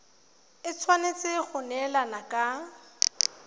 e tshwanetse go neelana ka